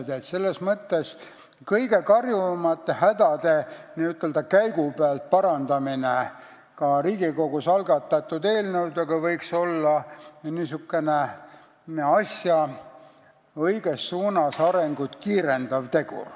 Nii et selles mõttes võiks kõige karjuvamate hädade n-ö käigu pealt parandamine Riigikogus algatatud eelnõudega olla asja õiges suunas arenemist kiirendav tegur.